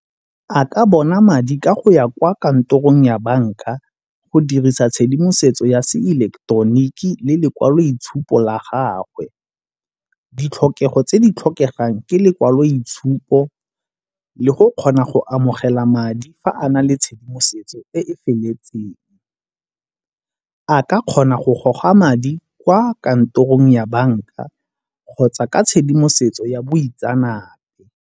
A ka bona madi ka go ya kwa kantorong ya banka go dirisa tshedimosetso ya se ileketoroniki le lekwaloitshupo la gagwe. Ditlhokego tse di tlhokegang ke lekwaloitshupo le go kgona go amogela madi fa a na le tshedimosetso e e feletseng. A ka kgona go goga madi kwa kantorong ya banka kgotsa ka tshedimosetso ya boitseanape.